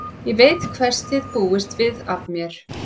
Ég veit hvers þið búist við af mér.